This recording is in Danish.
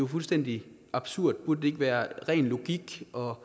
fuldstændig absurd altså burde det ikke være ren logik og